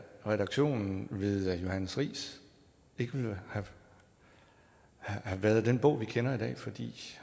redaktionen ved johannes riis ikke ville have været den bog vi kender i dag fordi